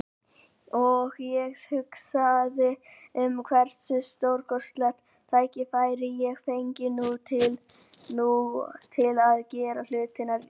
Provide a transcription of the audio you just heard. Og ég hugsaði um hversu stórkostlegt tækifæri ég fengi nú til að gera hlutina rétt.